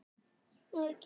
Enginn tekur af skarið.